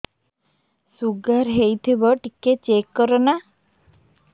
sugar ହେଇଥିବ ଟିକେ check କର ନା